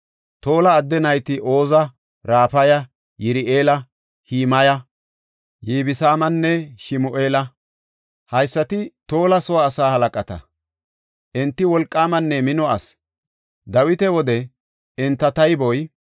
Tola adde nayti Oza, Rafaya, Yir7eela, Himaya, Yibsaamanne Shimu7eela; haysati Tola soo asaa halaqata. Enti wolqaamanne mino asi. Dawita wode enta tayboy 22,600.